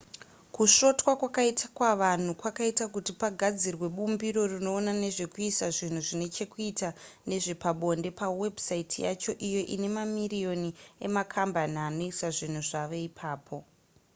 kusvotwa kwakaitwa vanhu kwakaita kuti pagadzirwe bumbiro rinoona nezvekuisa zvinhu zvine chekuita nezvepabonde pawebsite yacho iyo ine mamiriyoni emakambani anoisa zvinhu zvavo ipapo